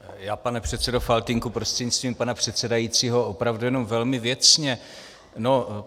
Já, pane předsedo Faltýnku prostřednictvím pana předsedajícího, opravdu jenom velmi věcně.